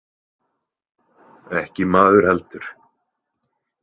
Ekki maður heldur.